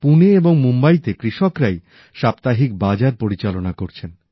পুনে এবং মুম্বাইতে কৃষকরাই সাপ্তাহিক বাজার পরিচালনা করছেন